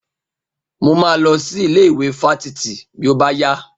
Mo máa lọ sí ilé ìwé fáfitì bí ó bá yá.